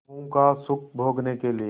विभवों का सुख भोगने के लिए